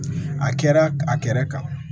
A kɛra a kɛra kan